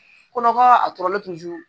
Kɔnɔkara